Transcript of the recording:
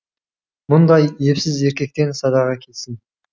мұндай епсіз еркектен садаға кетсін